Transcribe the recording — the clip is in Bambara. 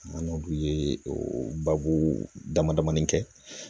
An n'olu ye o babu damadamanin kɛ